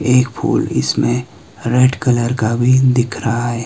एक फूल इसमें रेड कलर का भी दिख रहा है।